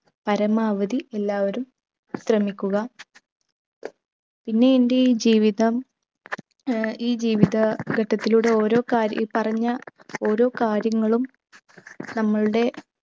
പരമാവധി എല്ലാവരും ശ്രമിക്കുക പിന്നെ എന്റെ ഈ ജീവിതം ഏർ ഈ ജീവിത ഘട്ടത്തിലൂടെ ഓരോ കാര്യ ഈ പറഞ്ഞ ഓരോ കാര്യങ്ങളും നമ്മളുടെ